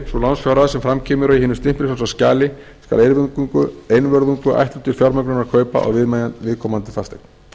c sú lánsfjárhæð sem fram kemur í hinu stimpilfrjálsa skjali skal einvörðungu ætluð til fjármögnunar kaupa á viðkomandi fasteign